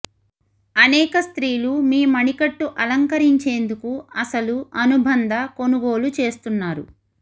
అనేక స్త్రీలు మీ మణికట్టు అలంకరించేందుకు అసలు అనుబంధ కొనుగోలు చేస్తున్నారు